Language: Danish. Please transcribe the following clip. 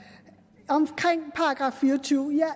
omkring § 24 jeg